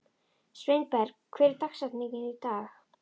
Sveinberg, hver er dagsetningin í dag?